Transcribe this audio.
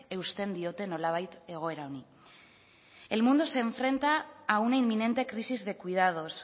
eusten diote nolabait egoera honi el mundo se enfrenta a una inminente crisis de cuidados